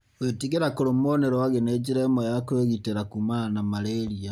Gwĩtigĩra kũrumwo nĩ rwagĩ nĩ njĩra ĩmwe ya kwĩgitĩra kumana na malaria.